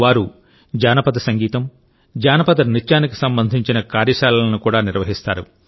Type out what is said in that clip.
వారు జానపద సంగీతం జానపద నృత్యానికి సంబంధించిన కార్యశాలలను కూడా నిర్వహిస్తారు